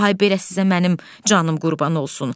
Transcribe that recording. Ay belə sizə mənim canım qurban olsun.